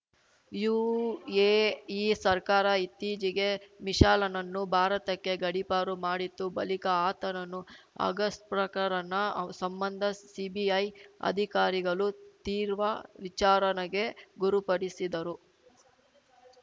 UAE ಸರ್ಕಾರ ಇತ್ತೀಚೆಗೆ ಮಿಶೆಲನನ್ನು ಭಾರತಕ್ಕೆ ಗಡಿಪಾರು ಮಾಡಿತ್ತು ಬಳಿಕ ಆತನನ್ನು ಅಗಸ್ಟಪ್ರಕರಣ ಸಂಬಂಧ ಸಿಬಿಐ ಅಧಿಕಾರಿಗಳು ತೀರ್ವ ವಿಚಾರಣೆಗೆ ಗುರುಪಡಿಸಿದರು